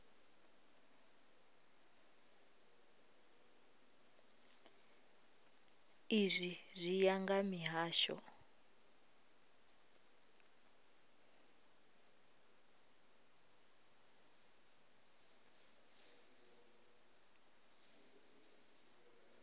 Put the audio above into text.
izwi zwi ya nga mihasho